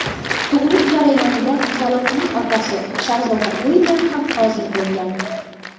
Tug‘uruq jarayonida qizaloqning otasi, shahzoda Uilyam ham hozir bo‘lgan.